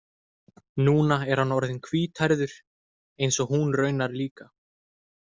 Núna er hann orðinn hvíthærður eins og hún raunar líka.